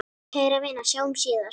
Kæra vina, sjáumst síðar.